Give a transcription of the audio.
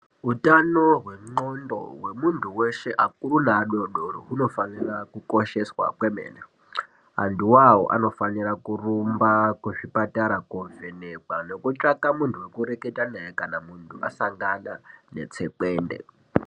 Utano hwenondxondo hwemuntu veshe akuru neadodori hunofanira kukosheswa kwemene. Antu vavo anofanira kurumba kuzvipatara kovhenekwa nekutsvaka muntu vekureketa naye kana muntu asangana netsekwende.